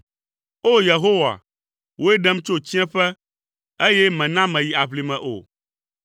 O! Yehowa, wòe ɖem tso tsiẽƒe, eye mèna meyi aʋlime o.